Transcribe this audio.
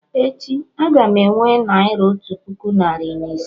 Echi, a-ga m enwe Naira otu puku narị na ise